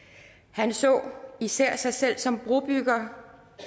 han så især sig selv som brobygger